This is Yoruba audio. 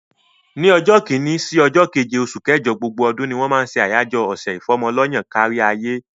Ni ọjọ́ kini sí ọjọ́ keje oṣù kẹjọ gbogbo ọdún ni wọ́n máa ṣe àyájọ́ ọ̀sẹ̀ ìfọ́mọ lọ́yàn káríayé.